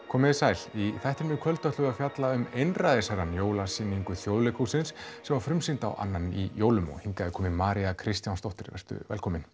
komið sæl í þættinum í kvöld ætlum við að fjalla um einræðisherrann jólasýningu Þjóðleikhússins sem var frumsýnd á annan í jólum hingað er komin María Kristjánsdóttir vertu velkomin